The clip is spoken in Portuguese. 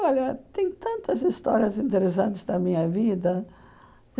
Olha, tem tantas histórias interessantes da minha vida.